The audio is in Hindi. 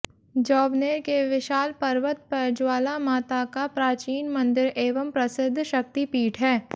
जोबनेर के विशाल पर्वत पर ज्वालामाता का प्राचीन मंदिर एवं प्रसिद्ध शक्तिपीठ है